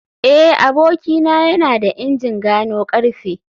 eh abokina yana da injin gano karfe